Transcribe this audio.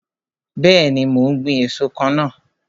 Bẹẹni, mo ń gbin èso kan náà.